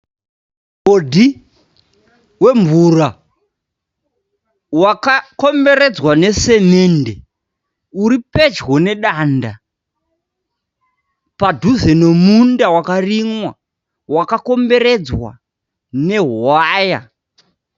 Mugodhi wemvura wakakomberedzwa nesemende. Uri pedyo nedanda padhuze nemunda wakarimwa, wakakomberedzwa nehwaya.